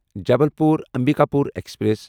Jabalpur Ambikapur express